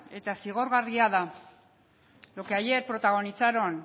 eta zigorgarria da lo que ayer protagonizaron